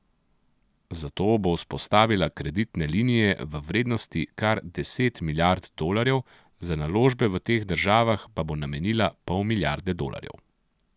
Zato bo vzpostavila kreditne linije v vrednosti kar deset milijard dolarjev, za naložbe v teh državah pa bo namenila pol milijarde dolarjev.